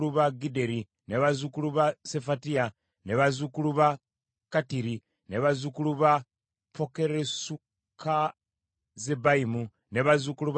bazzukulu ba Sefatiya, bazzukulu ba Kattiri, bazzukulu ba Pokeresukazzebayimu, ne bazzukulu ba Amoni.